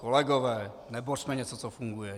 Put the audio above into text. Kolegové, nebořme něco, co funguje!